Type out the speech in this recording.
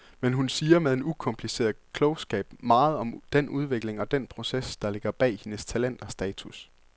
Men hun siger med en ukompliceret klogskab meget om den udvikling og den proces, der ligger bag hendes talent og status.